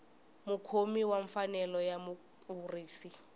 mukhomi wa mfanelo ya mukurisi